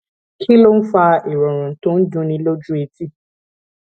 kí ló ń fa ìròrùn tó ń dunni lójú etí